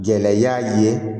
Gɛlɛya y'a ye